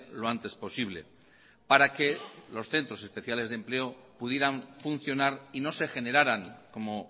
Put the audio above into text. lo antes posible para que los centros especiales de empleo pudieran funcionar y no se generaran como